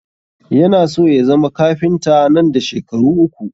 Yana so ya zama kafinta nan da shekaru uku